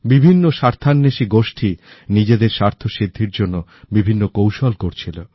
বিভিন্ন স্বার্থান্বেষী গোষ্ঠী নিজেদের স্বার্থসিদ্ধির জন্য বিভিন্ন কৌশল করছিল